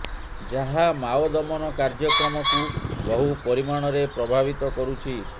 ଯାହା ମାଓ ଦମନ କାର୍ଯ୍ୟକ୍ରମକୁ ବହୁ ପରିମାଣରେ ପ୍ରଭାବିତ କରୁଛି